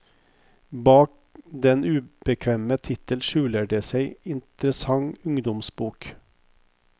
Bak den ubekvemme tittel skjuler det seg en interessant ungdomsbok.